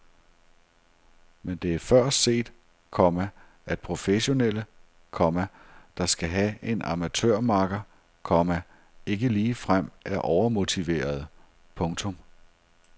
Men det er før set, komma at professionelle, komma der skal have en amatørmakker, komma ikke ligefrem er overmotiverede. punktum